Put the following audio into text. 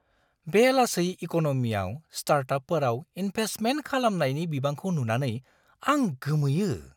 बे लासै इक'न'मियाव स्टार्टापफोराव इन्भेस्टमेन्ट खालामनायनि बिबांखौ नुनानै आं गोमोयो।